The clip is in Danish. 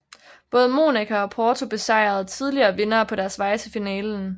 Både Monaco og Porto besejrede tidligere vindere på deres vej til finalen